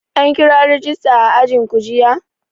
An kira rajista a ajinku jiya?